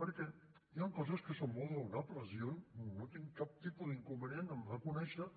perquè hi han coses que són molt raonables jo no tinc cap tipus d’inconvenient en reconèixer